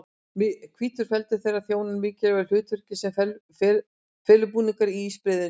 Hvítur feldur þeirra þjónar mikilvægu hlutverki sem felubúningur á ísbreiðunum.